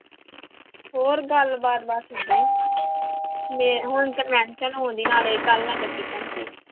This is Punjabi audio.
ਹੋਰ ਗੱਲਬਾਤ ਬਸ ਏਦਾਂ ਹੀ ਮੇ ਹੁਣ ਨਾਲੇ ਕੱਲ੍ਹ ਨਗਰ ਕੀਰਤਨ ਸੀ।